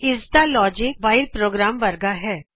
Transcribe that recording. ਇਸ ਦਾ logic while program ਵਰਗਾ ਹੈ